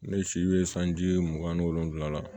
Ne si bɛ sanji mugan ni wolonwula la